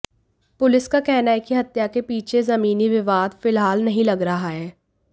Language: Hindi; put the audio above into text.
पुलिस का कहना है कि हत्या के पीछे जमीनी विवाद फिलहाल नहीं लग रहा है